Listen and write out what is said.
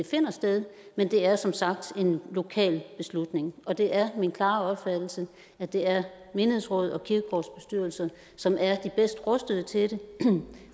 finder sted men det er som sagt en lokal beslutning og det er min klare opfattelse at det er menighedsråd og kirkegårdsbestyrelser som er de bedst rustede til det